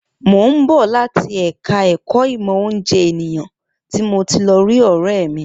Mo ń bọ̀ láti ẹ̀ka ẹ̀kọ́ ìmọ̀ oúnjẹ ènìyàn tí mo ti lọ rí ọ̀rẹ́ mi